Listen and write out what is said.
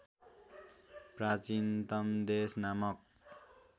प्राचीनतम देश नामक